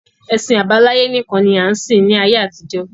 Ẹ̀sìn àbáláyé nìkan ni a ń sìn ní ayé àtijọ́